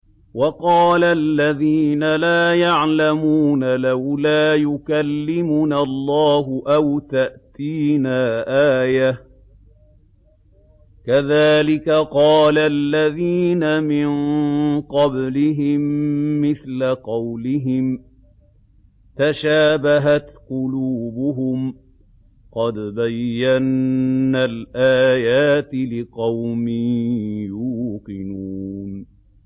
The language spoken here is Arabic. وَقَالَ الَّذِينَ لَا يَعْلَمُونَ لَوْلَا يُكَلِّمُنَا اللَّهُ أَوْ تَأْتِينَا آيَةٌ ۗ كَذَٰلِكَ قَالَ الَّذِينَ مِن قَبْلِهِم مِّثْلَ قَوْلِهِمْ ۘ تَشَابَهَتْ قُلُوبُهُمْ ۗ قَدْ بَيَّنَّا الْآيَاتِ لِقَوْمٍ يُوقِنُونَ